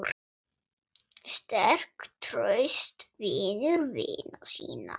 Sterk, traust, vinur vina sinna.